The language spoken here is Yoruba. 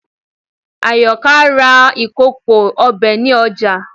Àyọkà ra ìkòkò ọbẹ̀ ní ọjà